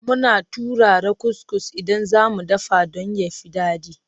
Muna turara kuskus idan za mu dafa don ya fi daɗi.